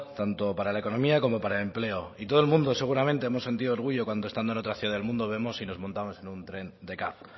tanto para la economía como para el empleo y todo el mundo seguramente hemos sentido orgullo cuando estando en otra ciudad del mundo vemos y nos montamos en un tren de caf